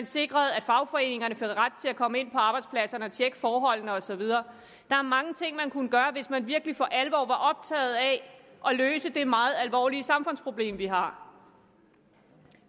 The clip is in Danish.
sikre at fagforeningerne havde ret til at komme ind på arbejdspladserne og tjekke forholdene og så videre der er mange ting man kunne gøre hvis man virkelig for alvor var optaget af at løse det meget alvorlige samfundsproblem vi har